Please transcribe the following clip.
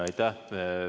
Aitäh!